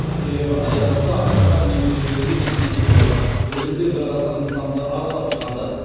себебі аяз ата ақшақар немесе өзге де кейіпкерлер бір күнде бірқатар нысанды аралап шығады